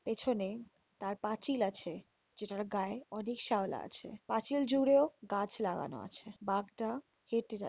পেছনে একটি পাঁচিল আছে। যেটার গায়ে অনেক শ্যাওলা আছে। পাঁচিল জুড়েও গাছ লাগানো আছে। বাঘটা হেটে যা--